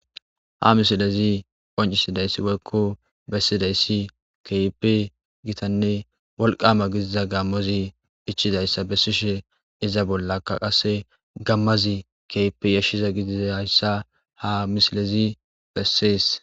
Hamisilezi qoncisidayssi wolkko bessidayssi keype gitanne wolqama gidiza gammozi ichidayssa bessishe iza bollakka qasse gammazi keype yashshiza gididayssa hamisilezi bessees.